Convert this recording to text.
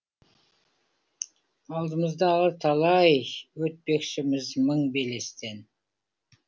алдымызда әлі талай өтпекшіміз мың белестен